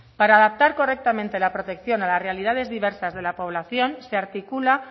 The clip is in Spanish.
para adaptar perfectamente la protección a las realidades diversas de la población se articula